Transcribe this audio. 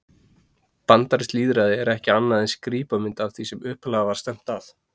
Bandarískt lýðræði er ekki annað en skrípamynd af því sem upphaflega var stefnt að.